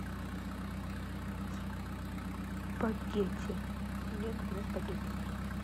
спагетти мне нужны спагетти